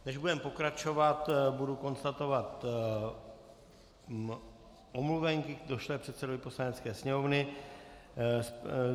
Než budeme pokračovat, budu konstatovat omluvenky došlé předsedovi Poslanecké sněmovny.